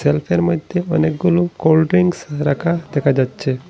বক্সের মইধ্যে অনেকগুলো কোল্ড ড্রিংকস রাখা দেখা যাচ্ছে।